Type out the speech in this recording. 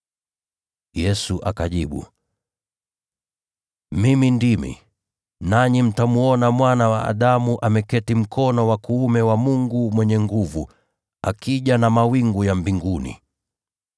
Yesu akajibu, “Mimi ndimi. Nanyi mtamwona Mwana wa Adamu akiwa ameketi mkono wa kuume wa Mwenye Nguvu, na akija juu ya mawingu ya mbinguni.”